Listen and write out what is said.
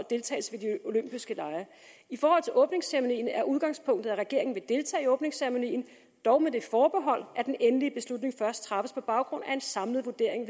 deltagelse i de olympiske lege i forhold til åbningsceremonien er udgangspunktet at regeringen vil deltage i åbningsceremonien dog med det forbehold at den endelige beslutning først træffes på baggrund af en samlet vurdering